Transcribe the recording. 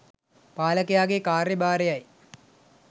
පාලකයාගේ කාර්යභාරයයි.